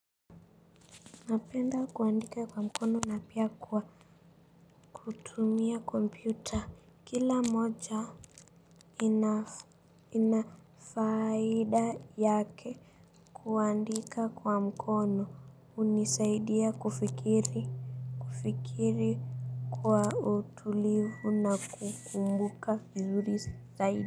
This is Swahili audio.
Napenda kuandika kwa mkono na pia kwa kutumia kompyuta kila moja nina ina faida yake kuandika kwa mkono hunisaidia kufikiri kufikiri kwa utulivu na kukumbuka vizuri zaidi.